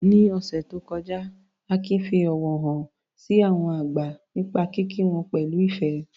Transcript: Ní ọ̀sẹ̀ tó kọjá, Akin fi ọ̀wọ̀ hàn sí àwọn àgbà nípa kíkí wọn pẹ̀lú ìfẹ́.